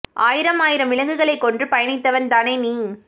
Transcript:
ஆயிரமாயிரம் விலங்குகளை கொன்று பயணித்தவன் தானே நீ